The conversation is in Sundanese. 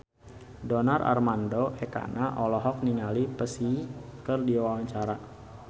Donar Armando Ekana olohok ningali Psy keur diwawancara